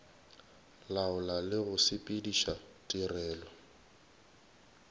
laola le go sepediša tirelo